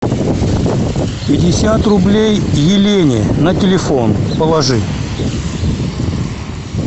пятьдесят рублей елене на телефон положи